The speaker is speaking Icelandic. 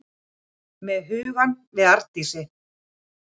Með hugann við Arndísi.